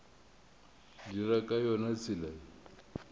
dira ka yona tsela ye